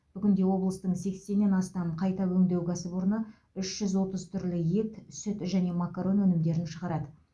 бүгінде облыстың сексеннен астам қайта өңдеу кәсіпорны үш жүз отыз түрлі ет сүт және макарон өнімдерін шығарады